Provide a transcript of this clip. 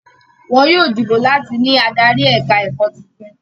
Wọn yóò dìbò láti ní adarí ẹ̀ka-ẹ̀kọ́ tuntun.